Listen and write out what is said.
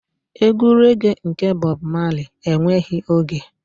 Egwu rẹ́ge nke Bob Marley enweghị oge.